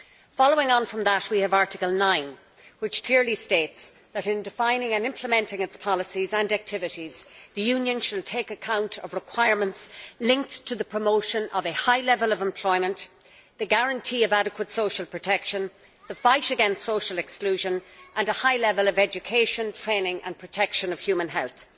Following on from that, Article 9 clearly states that in defining and implementing its policies and activities, the Union should take account of requirements linked to the promotion of a high level of employment, the guarantee of adequate social protection, the fight against social exclusion, and a high level of education, training and protection of human health.